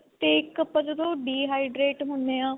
ਤੇ ਇੱਕ ਆਪਾਂ ਜਦੋ dehydrate ਹੁਨੇ ਆਂ.